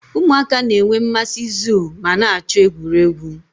Ụmụaka na-enwe mmasị zoo ma na-achọ egwuregwu